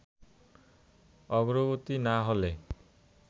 অগ্রগতি না হলে